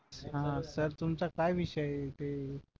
हा सर तुमचा काय विषय आहे ते